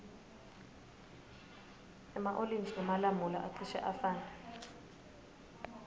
ema olintji nemalamula acishe afane